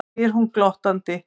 spyr hún glottandi.